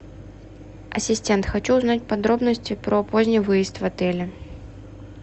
ассистент хочу узнать подробности про поздний выезд в отеле